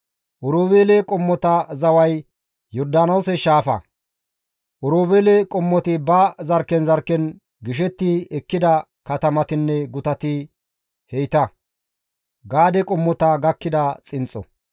Oroobeele qommota zaway Yordaanoose shaafa. Oroobeele qommoti ba zarkken zarkken gishetti ekkida katamatinne gutati heyta.